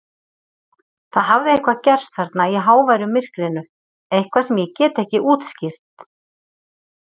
Það hafði eitthvað gerst þarna í háværu myrkrinu, eitthvað sem ég get ekki útskýrt.